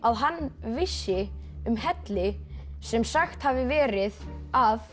hann vissi um helli sem sagt hafi verið að